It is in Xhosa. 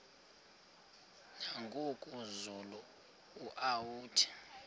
nangoku zulu uauthi